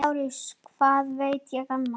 LÁRUS: Ég veit ekki annað.